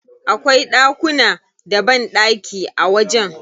Akwai ɗakuna da banɗaki a wajen.